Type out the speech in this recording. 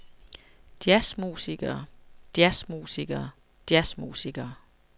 jazzmusikere jazzmusikere jazzmusikere